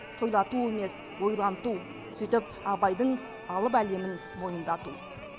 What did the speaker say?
тойлату емес ойланту сөйтіп абайдың алып әлемін мойындату